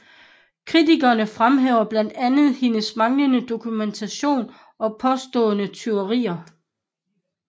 Kritikerne fremhæver blandt andet hendes manglende dokumentation og påståede tyverier